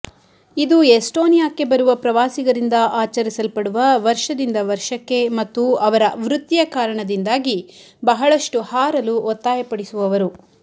ಇದು ಎಸ್ಟೋನಿಯಾಕ್ಕೆ ಬರುವ ಪ್ರವಾಸಿಗರಿಂದ ಆಚರಿಸಲ್ಪಡುವ ವರ್ಷದಿಂದ ವರ್ಷಕ್ಕೆ ಮತ್ತು ಅವರ ವೃತ್ತಿಯ ಕಾರಣದಿಂದಾಗಿ ಬಹಳಷ್ಟು ಹಾರಲು ಒತ್ತಾಯಪಡಿಸುವವರು